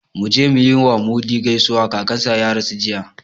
Mu je mu yi wa Mudi gaisuwa, kakansa ya rasu jiya